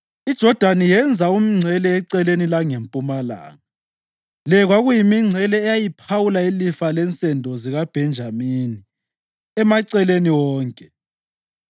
IJodani yenza umngcele eceleni langempumalanga. Le kwakuyimingcele eyayiphawula ilifa lensendo zikaBhenjamini emaceleni wonke.